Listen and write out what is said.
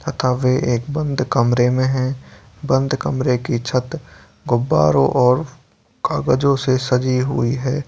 तथा वे एक बंद कमरे में है बंद कमरे की छत गुब्बारों और कागजो से सजी हुई हैं |